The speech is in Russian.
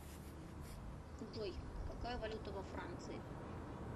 джой какая валюта во франции